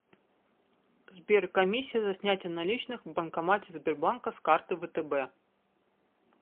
сбер комиссия за снятие наличных в банкомате сбербанка с карты втб